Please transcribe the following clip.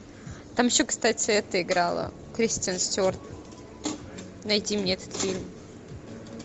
там еще кстати эта играла кристен стюарт найди мне этот фильм